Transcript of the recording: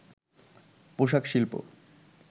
পোশাক শিল্প